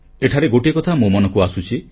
ଏଠାରେ ଗୋଟିଏ କଥା ମୋ ମନକୁ ଆସୁଛି